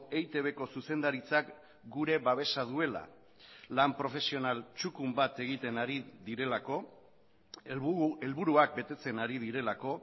eitbko zuzendaritzak gure babesa duela lan profesional txukun bat egiten ari direlako helburuak betetzen ari direlako